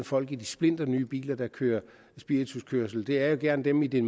folk i de splinternye biler der kører spirituskørsel det er jo gerne dem i de